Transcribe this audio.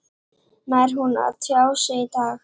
Nær hún að tjá sig í dag?